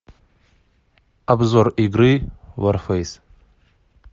обзор игры варфейс